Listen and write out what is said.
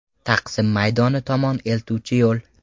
Taqsim maydoni tomon eltuvchi yo‘l.